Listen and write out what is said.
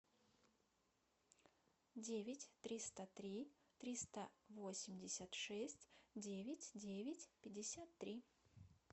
девять триста три триста восемьдесят шесть девять девять пятьдесят три